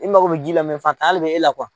I mago be ji la faatan le be e la